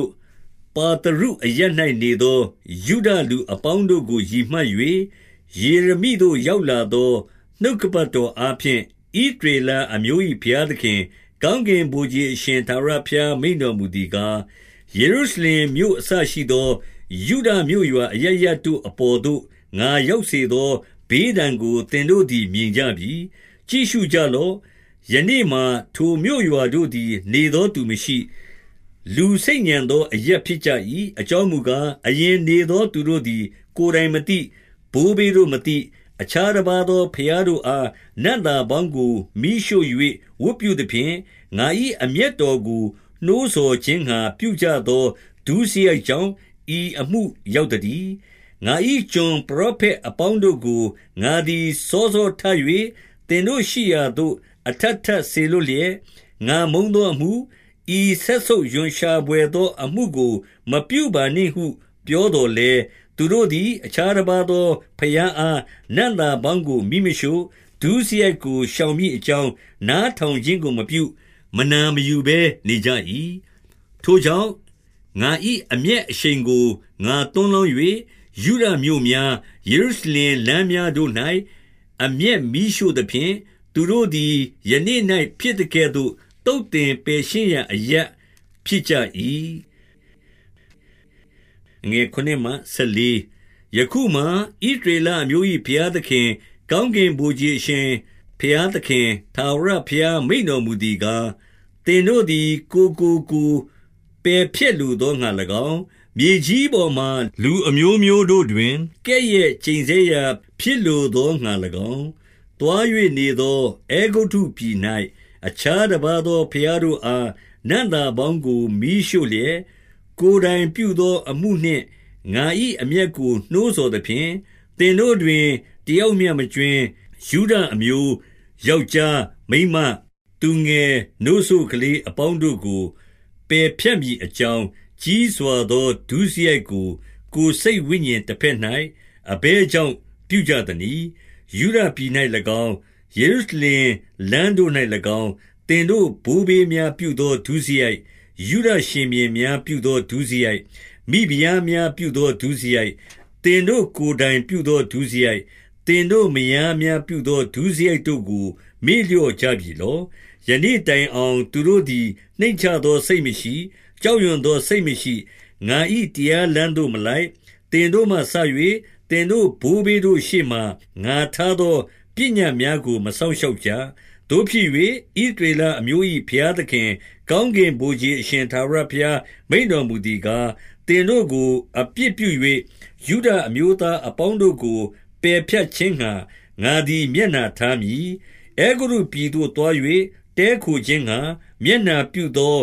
ို့၊ ပါသရုအရပ်၌နေသော ယုဒလူအပေါင်းတို့ကို ရည်မှတ်၍ ယေရမိသို့ ရောက်လာသော နှုတ်ကပတ် တော်အားဖြင့်၊ 2 ဣသရေလအမျိုး၏ဘုရားသခင်၊ ကောင်းကင် ဗိုလ်ခြေအရှင် ထာဝရဘုရားမိန့်တော်မူသည်ကား၊ ယေရု ရှလင်မြို့အစရှိသော ယုဒမြို့ရွာ အရပ်ရပ်တို့အပေါ်သို့ ငါရောက်စေသောဘေးဒဏ်ကို သင်တို့သည် မြင်ကြပြီ။ 3 ကြည့်ရှုကြလော့။ ယနေ့မှာ ထိုမြို့ရွာတို့သည်၊ နေသောသူမရှိ၊ လူဆိတ်ညံသောအရပ်ဖြစ်ကြ၏။ အကြောင်းမူကား၊ အရင်နေသောသူတို့သည် ကိုယ်တိုင် မသိ၊ ဘိုးဘေးတို့မသိ၊ အခြားတပါးသော ဘုရားတို့အား နံ့သာပေါင်းကို မီးရှို့၍ဝတ်ပြုသဖြင့်၊ ငါ၏အမျက်တော်ကို နှိုးဆော်ခြင်းငှါ ပြုကြသောဒုစရိုက်ကြောင့် ဤအမှု ရောက်သတည်း။ 4 ငါ၏ကျွန်ပရောဖက်အပေါင်းတို့ကို ငါသည် စောစောထ၍ သင်တို့ရှိရာသို့ အထပ်ထပ်စေလွှတ်လျက်၊ ငါမုန်းသောအမှု၊ ဤစက်ဆုပ်ရွံရှာဘွယ်သောအမှုကို မပြုပါနှင့်ဟု ပြောသော်လည်း၊ 5 သူတို့သည်အခြားတပါးသော ဘုရားအားနံ့သာ ပေါင်းကို မီးမရှို့၊ ဒုစရိုက်ကို ရှောင်မည်အကြောင်း နားထောင်ခြင်းကို မပြု၊မနာမယူဘဲ နေကြ၏။ 6 ထိုကြောင့်၊ ငါ၏အမျက်အရှိန်ကို ငါသွန်း လောင်း၍၊ ယုဒမြို့များ ယေရုရှလင်လမ်းများတို့၌ အမျက်မီးရှို့သဖြင့်၊ သူတို့သည်ယနေ့၌ ဖြစ်သကဲ့သို့ သုတ်သင်ပယ်ရှင်းရာအရပ်ဖြစ်ကြ၏။ 7 ယခုမှာဣသရေလမျိုး၏ ဘုရားသခင်၊ ကောင်း ကင်ဗိုလ်ခြေ အရှင်ဘုရားသခင်၊ 8 ထာဝရဘုရားမိန့်တော် မူသည်ကား၊ သင်တို့သည် ကိုယ်ကိုကိုယ်ပယ်ဖြတ်လို သောငှါ၎င်း၊ မြေကြီးပေါ်မှာလူအမျိုးမျိုးတို့တွင် ကဲ့ရဲ့ ကျိန်ဆဲရာဖြစ်လိုသောငှါ၎င်း၊ သွား၍နေသောအဲဂုတ္တု ပြည်၌ အခြားတပါးသော ဘုရားတို့အား နံ့သာပေါင်းကို မီးရှို့လျက်၊ ကိုယ်တိုင်ပြုသောအမှုနှင့် ငါ၏အမျက်ကို နှိုးဆော်သဖြင့်၊ သင်တို့တွင် တယောက်မျှမကြွင်း၊ ယုဒ အမျိုးယောက်ျားမိန်းမ၊ သူငယ်စို့နို့ကလေးအပေါင်းတို့ကို ပယ်ဖြတ်မည်အကြောင်း၊ ကြီးစွာသော ဒုစရိုက်ကို ကိုယ် စိတ်ဝိညာဉ်တဘက်၌ အဘယ်ကြောင့် ပြုကြသနည်း။ 9 ယုဒပြည်၌၎င်း၊ ယေရုရှလင်လမ်းတို့၌၎င်း၊ သင်တို့ဘိုးဘေးများ ပြုသောဒုစရိုက်၊ ယုဒရှင်ဘုရင်များ ပြုသောဒုစရိုက်၊ မိဖုရားများပြုသော ဒုစရိုက်၊ သင်တို့ ကိုယ်တိုင်ပြုသော ဒုစရိုက်၊ သင်တို့မယားများပြုသော ဒုစရိုက်တို့ကို မေ့လျော့ကြပြီလော့။ 10 ယနေ့တိုင်အောင် သူတို့သည် နှိမ့်ချသော စိတ် မရှိ၊ ကြောက်ရွံ့သောစိတ်မရှိ၊ ငါ၏တရားလမ်း သို့မလိုက်၊ သင်တို့မှစ၍ သင်တို့ဘိုးဘေးတို့ရှေ့မှာ ငါထားသော ပညတ်များကို မစောင့်ရှောက်ကြ။ 11 သို့ဖြစ်၍၊ ဣသရေလအမျိုး၏ဘုရားသခင်၊ ကောင်းကင်ဗိုလ် ခြေအရှင်ထာဝရဘုရား မိန့်တော်မူ သည်ကား၊ သင်တို့ကိုအပြစ်ပြု၍ ယုဒအမျိုးသား အပေါင်းတို့ကို ပယ်ဖြတ်ခြင်းငှါ ငါသည် မျက်နှာ ထားမည်။ 12 အဲဂုတ္တုပြည်သို့သွား၍ တည်းခိုခြင်းငှါ မျက်နှာ ပြုသော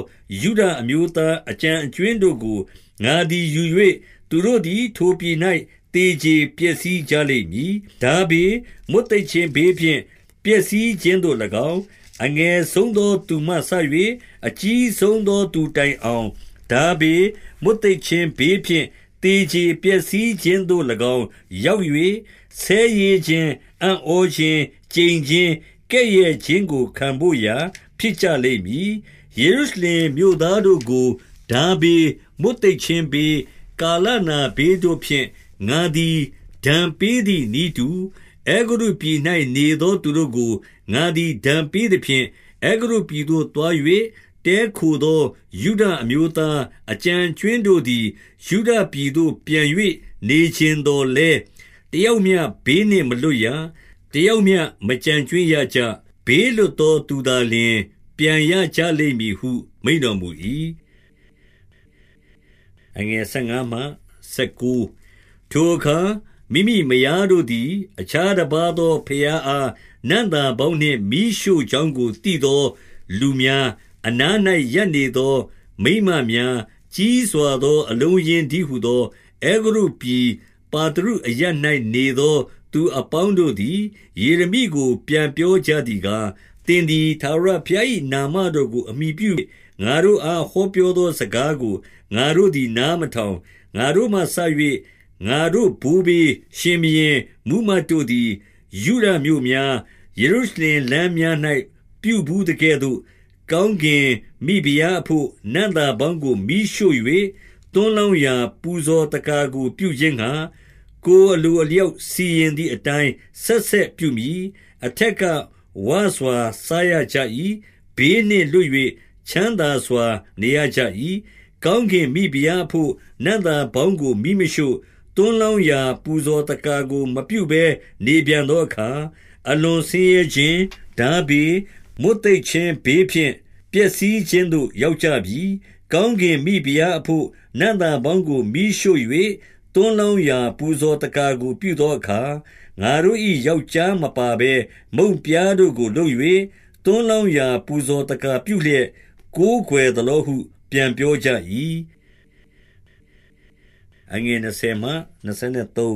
ယုဒအမျိုးသားအကျန်အကြွင်းတို့ကို ငါသည် ယူ၍၊ သူတို့သည်ထိုပြည်၌ သေကြေပျက်စီးကြလိမ့်မည်။ ထားဘေး၊ မွတ်သိပ်ခြင်းဘေးဖြင့်ပျက်စီးခြင်းသို့၎င်း၊ အငယ်ဆုံးသော သူမှစ၍ အကြီးဆုံးသော သူတိုင်အောင် ထားဘေး၊ မွတ်သိပ်ခြင်းဘေးဖြင့် သေကြေပျက်စီးခြင်းသို့ ၎င်း ရောက်၍၊ ဆဲရေးခြင်း၊ အံ့ဩခြင်း၊ ကျိန်ခြင်း၊ ကဲ့ရဲ့ခြင်းကိုခံဘို့ရာ ဖြစ်ကြလိမ့်မည်။ 13 ယေရုရှလင်မြို့သားတို့ကို ထားဘေး၊ မွတ်သိပ် ခြင်းဘေး၊ ကာလနာဘေးတို့ဖြင့် ငါသည် ဒဏ်ပေးသည် နည်းတူ၊ အဲဂုတ္တုပြည်၌နေသော သူတို့ကို ငါသည် ဒဏ်ပေးသဖြင့်၊ 14 အဲဂုတ္တုပြည်သို့ သွား၍ တည်ခိုးသော ယုဒ အမျိုးသား အကျန်အကြွင်းတို့သည် ယုဒပြည်သို့ပြန်၍ နေချင်သော်လည်း၊ တယောက်မျှ ဘေးနှင့်မလွတ်ရ၊ တယောက်မျှ မကျန်ကြွင်းရကြ။ ဘေးလွတ်သော သူသာ လျှင် ပြန်ရကြလိမ့်ဟု မိန့်တော်မူ၏။ 15 ထိုအခါ မိမိမယားတို့သည် အခြားတပါးသော ဘုရားအား နံ့သာပေါင်းနှင့်မီးရှို့ကြောင်းကို သိသော လူများ၊ အနား၌ရပ်နေသော မိန်းမများ၊ ကြီးစွာသော အလုံးအရင်းတည်းဟူသော၊ အဲဂုတ္တုပြည်ပါသရုအရပ်၌ နေသောသူအပေါင်းတို့သည် ယေရမိကို ပြန်ပြော ကြသည်ကား၊ 16 သင်သည်ထာဝရဘုရား၏ နာမတော်ကို အမှီပြု ၍၊ ငါတို့အား ဟောပြောသောစကားကို ငါတို့သည် နားမထောင်။ 17 ငါတို့မှစ၍ ငါတို့ဘိုးဘေး၊ ရှင်ဘုရင်၊ မှူးမတ် တို့သည် ယုဒမြို့များ၊ ယေရုရှလင်လမ်းများ၌ ပြုဘူး သကဲ့သို့၊ ကောင်းကင်မိဖုရားအဘို့ နံ့သာပေါင်းကို မီးရှို့၍၊ သွန်းလောင်းရာ ပူဇော်သက္ကာကိုပြုခြင်းငှါ၊ ကိုယ် အလိုအလျောက် စီရင်သည်အတိုင်း ဆက်ဆက်ပြုမည်။ အထက်က ဝစွာစားရကြ၏။ ဘေးနှင့်လွတ်၍ ချမ်းသာ စွာ နေရကြ၏။ 18 ကောင်းကင်မိဖုရားအဘို့နံ့သာပေါင်းကို မီးမရှို့၊ သွန်းလောင်းရာပူဇော်သက္ကာကို မပြုဘဲနေပြန်သော အခါ၊ အလွန်ဆင်းရဲခြင်း၊ ထားဘေး၊ မွတ်သိပ်ခြင်း ဘေးဖြင့် ပျက်စီးခြင်းသို့ ရောက်ကြပြီ။ 19 ကောင်းကင်မိဖုရားအဘို့ နံ့သာပေါင်းကိုမီးရှို့၍၊ သွန်းလောင်း ရာပူဇော်သက္ကာကို ပြုသောအခါ၊ ငါတို့၏ ယောက်ျားမပါဘဲ မုန့်ပြားတို့ကို လုပ်၍၊ သွန်းလောင်းရာ ပူဇော်သက္ကာပြုလျက် ကိုးကွယ်သလောဟုပြန်ပြောကြ၏။ 20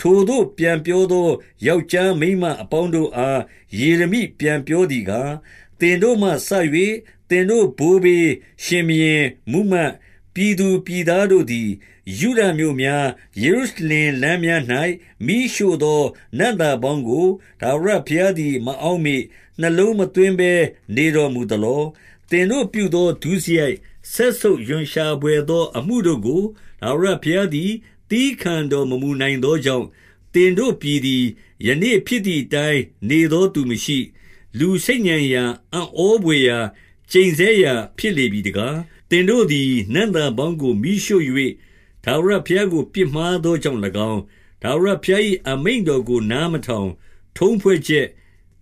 ထိုသို့ပြန်ပြောသော ယောက်ျားမိန်းမအပေါင်း တို့အား ယေရမိပြန်ပြောသည်ကား၊ 21 သင်တို့မှစ၍ သင်တို့ဘိုးဘေး၊ ရှင်ဘုရင်၊ မှူးမတ်၊ ပြည်သူပြည်သားတို့သည် ယုဒမြို့များ၊ ယေရု ရှလင်လမ်းများ၌ မီးရှို့သော နံ့သာပေါင်းကို ထာဝရ ဘုရားသည် မအောက်မေ့၊ နှလုံးမသွင်းဘဲ နေတော် မူသလော။ 22 သင်တို့ပြုသောဒုစရိုက်၊ စက်ဆုပ်ရွံရှာဘွယ် သောအမှုတို့ကို ထာဝရဘုရားသည် သည်းခံတော်မမူနိုင် သောကြောင့်၊ သင်တို့ပြည်သည်၊ ယနေ့ဖြစ်သည်အတိုင်း၊ နေသောသူမရှိ၊ လူဆိတ်ညံရာ၊ အံ့ဩဘွယ်ရာ၊ ကျိန်ဆဲရာ ဖြစ်လေပြီတကား။ 23 သင်ကိုသည် နံ့သာအပေါင်းကို မီးရှို့၍ ထာဝရ ဘုရားကိုပြစ်မှားသောကြောင့်၎င်း၊ ထာဝရဘုရား၏ အမိန့်တော်ကို နားမထောင်၊ ထုံးဖွဲ့ချက်၊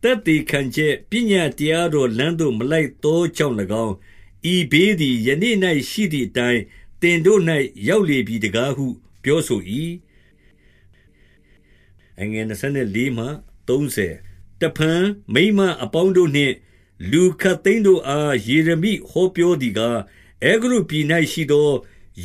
သက်သေခံ ချက်ပညတ်တရားတော်လမ်းသို့ မလိုက်သောကြောင့် ၎င်း၊ ဤဘေးသည် ယနေ့၌ရှိသည်အတိုင်း၊ သင်တို့၌ ရောက်လေပြီတကားဟု ပြောဆို၏။ 24 တဖန်မိန်းမအပေါင်းတို့နှင့် လူခပ်သိမ်းတို့အား ယေရမိဟောပြောသည်ကား၊ အဲဂုတ္တုပြည်၌ရှိသော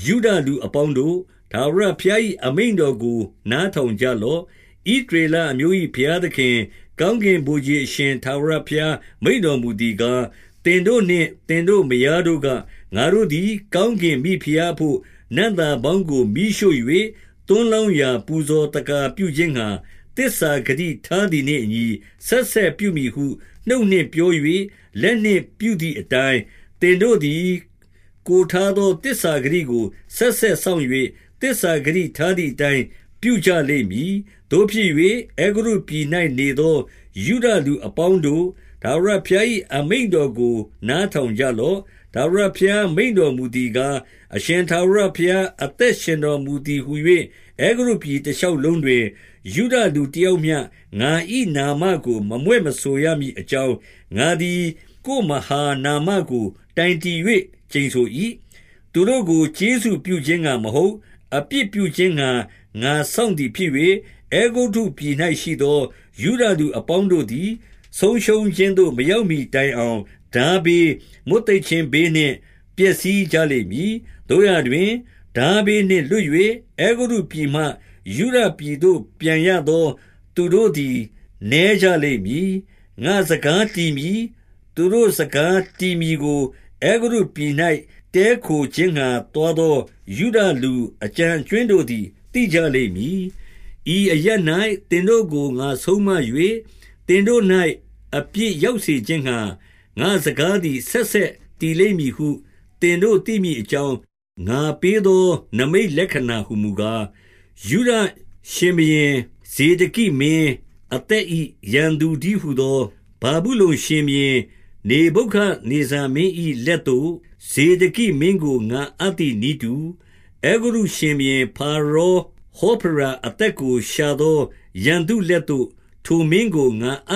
ယုဒ လူအပေါင်းတို့၊ ထာဝရဘုရား၏ အမိန့်တော်ကို နားထောင်ကြလော့။ 25 ဣသရေလအမျိုး၏ ဘုရားသခင်၊ ကောင်းကင် ဗိုလ်ခြေအရှင် ထာဝရဘုရားမိန့်တော်မူသည်ကား၊ သင်တို့နှင့်သင်တို့မယားတို့က၊ ငါတို့သည် ကောင်းကင် မိဖုရားအဘို့ နံ့သာပေါင်းကို မီးရှို့၍ သွန်းလောင်းပူဇော် သက္ကာပြုခြင်းငှါ၊ သစ္စာဂတိထားသည်နှင့်အညီ ဆက်ဆက်ပြုမည်ဟု နှုတ် နှင့်ပြော၍ လက်နှင့် ပြုသည်အတိုင်း၊ သင်တို့သည် ကိုယ်ထားသော သစ္စာဂတိ ကို ဆက်ဆက်စောင့်၍၊ သစ္စာဂတိထားသည်အတိုင်း ပြုကြလိမ့်မည်။ 26 သို့ဖြစ်၍ အဲဂုတ္တုပြည်၌ နေသောယုဒလူ အပေါင်းတို့၊ ထာဝရဘုရား၏ အမိန့်တော်ကို နားထောင် ကြလော့။ ထာဝရဘုရားမိန့်တော်မူသည်ကား၊ အရှင် ထာဝရဘုရား အသက်ရှင်တော်မူသည်ဟူ၍ အဲဂုတ္တုပြည် တရှောက်လုံးတွင်၊ ယုဒလူတယောက်မျှငါ၏ နာမကို မမြွက်မဆိုရမည်အကြောင်း၊ ငါသည် ကိုယ်မဟာနမကို တိုင်တည်၍ ကျိန်ဆို၏။ 27 သူတို့ကို ကျေးဇူးပြုခြင်းငှါမဟုတ်၊ အပြစ်ပြု ခြင်းငှါ ငါစောင့်သည် ဖြစ်၍၊ အဲဂုတ္တုပြည်၌ရှိသော ယုဒလူအပေါင်းတို့သည် ဆုံးရှုံးခြင်းသို့ မရောက်မှီ တိုင်အောင် ထားဘေး၊ မွတ်သိပ်ခြင်းဘေးနှင့် ပျက်စီး ကြလိမ့်မည်။ 28 သို့ရာတွင်၊ ထားဘေးနှင့်လွတ်၍၊ အဲဂုတ္တုပြည်မှ ယုဒပြည်သို့ ပြန်ရသောသူတို့သည် နည်းကြလိမ့်မည်။ ငါ့စကားတည်မည်၊ သူတို့စကားတည်မည်ကို၊ အဲဂုတ္တုပြည်၌ တည်းခိုခြင်းငှါသွားသော ယုဒလူအကျန် အကြွင်းတို့သည် သိကြလိမ့်မည်။ 29 ဤအရပ်၌ သင်တို့ကိုငါဆုံးမ၍၊ သင်တို့၌ အပြစ်ရောက်စေခြင်းငှါ ငါ့စကားသည် ဆက်ဆက် တည်လိမ့်မည်ဟု သင်တို့သိမည်အကြောင်း၊ ငါပေးသော နိမိတ်လက္ခဏာဟူမူကား၊ 30 ယုဒရှင်ဘုရင်ဇေဒက်မင်းအသဂ၏ ရန်သူ တည်းဟူသော ဗာဗု လုန်ရှင်ဘုရင်နေဗုခဒ်နေဇာမင်း ၏လက်သို့ ဇေဒကိမင်းကိုငါအပ်သည်နည်းတူ၊ အဲဂုတ္တု ရှင်ဘုရင်ဖာရောဟောဖရာအသက်ကို ရှာသောရန်သူ လက်သို့ ထိုမင်းကိုငါအ